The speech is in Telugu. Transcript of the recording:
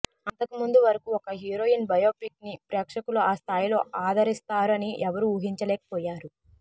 అంతకుముందు వరకు ఒక హీరోయిన్ బయోపిక్ ని ప్రేక్షకులు ఆ స్థాయిలో ఆదరిస్తారు అని ఎవరు ఊహించలేకపోయారు